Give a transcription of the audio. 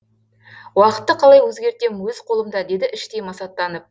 уақытты қалай өзгертем өз қолымда деді іштей масаттанып